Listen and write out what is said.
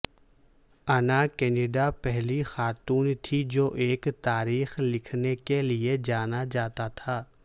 انا کینیڈا پہلی خاتون تھی جو ایک تاریخ لکھنے کے لئے جانا جاتا تھا